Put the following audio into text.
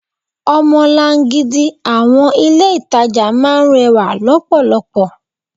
Omolan-gidi àwọn ilé itàjà máa ń rẹwà lọpọlọpọ.